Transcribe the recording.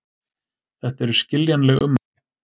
Þetta eru skiljanleg ummæli